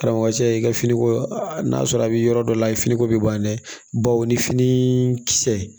Karamɔgɔcɛ i ka finiko n'a sɔrɔ a bɛ yɔrɔ dɔ la i ye finiko bɛ ban dɛ bawo ni fini kisɛ